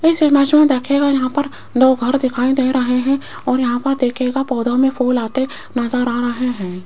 इसे इमेज में देखिएगा यहां पर दो घर दिखाई दे रहे हैं और यहां पर देखियेगा पौधों में फूल आते नजर आ रहे हैं।